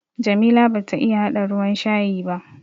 Jamila bata iya haɗa ruwan shayi ba.